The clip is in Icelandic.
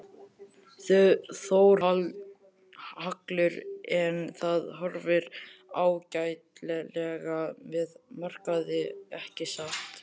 Þórhallur: En það horfir ágætlega með markaði ekki satt?